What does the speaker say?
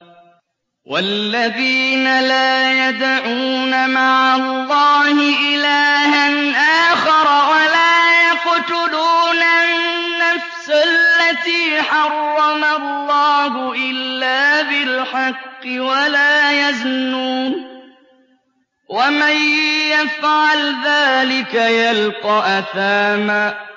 وَالَّذِينَ لَا يَدْعُونَ مَعَ اللَّهِ إِلَٰهًا آخَرَ وَلَا يَقْتُلُونَ النَّفْسَ الَّتِي حَرَّمَ اللَّهُ إِلَّا بِالْحَقِّ وَلَا يَزْنُونَ ۚ وَمَن يَفْعَلْ ذَٰلِكَ يَلْقَ أَثَامًا